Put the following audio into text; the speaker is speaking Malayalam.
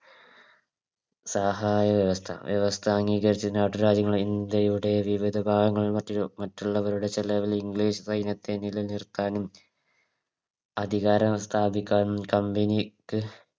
സഹായ വ്യവസ്ഥ വ്യവസ്ഥ അംഗീകരിച്ചു നാട്ടുരാജ്യങ്ങളെ ഇന്ത്യയുടെ വിവിധ ഭാഗങ്ങളിലും മറ്റും മറ്റുള്ളവയുടെ ചെലവിൽ English സൈന്യത്തെ നിലനിർത്താനും അധികാരം സ്ഥാപിക്കാനും Company ക്ക്